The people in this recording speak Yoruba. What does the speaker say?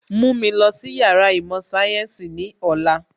Mú mi lọ sí Yàrá īmò sayensi ní ọ̀la